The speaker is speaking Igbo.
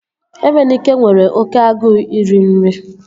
Emenike nwere oké agụụ iri nri